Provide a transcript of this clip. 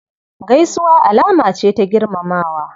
Gaisuwa alama ce ta girmamawa.